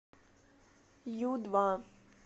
ю два